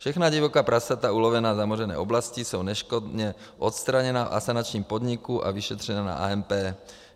Všechna divoká prasata ulovená v zamořené oblasti jsou neškodně odstraněna v asanačním podniku a vyšetřena na AMP.